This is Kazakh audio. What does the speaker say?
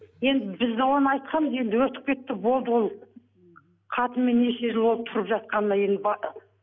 енді біз де оны айтқанбыз енді өтіп кетті болды ол қатынмен неше жыл болды тұрып жатқанына енді